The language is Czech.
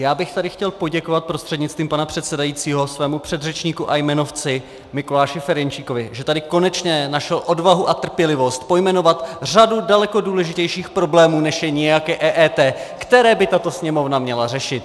Já bych tady chtěl poděkovat prostřednictvím pana předsedajícího svému předřečníku a jmenovci Mikuláši Ferjenčíkovi, že tady konečně našel odvahu a trpělivost pojmenovat řadu daleko důležitějších problémů, než je nějaké EET, které by tato Sněmovna měla řešit.